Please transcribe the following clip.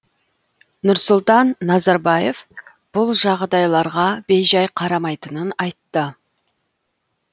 нұрсұлтан назарбаев бұл жағдайларға бейжай қарамайтынын айтты